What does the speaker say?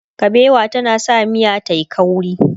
kabewa tana sa miya tayi ƙauri